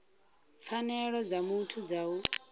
pfanelo dza muthu dza u